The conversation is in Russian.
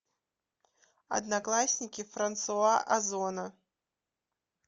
одноклассники франсуа озона